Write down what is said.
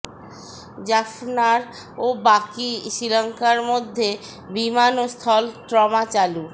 জাফনার ও বাকি শ্রীলংকার মধ্যে বিমান ও স্থল ট্রমা চালু